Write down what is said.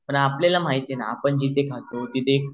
पण आपल्याला माहिती नाही आपण जिथे खातो तिथे